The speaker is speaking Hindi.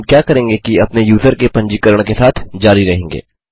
अब हम क्या करेंगे कि अपने यूजर के पंजीकरण के साथ जारी रहेंगे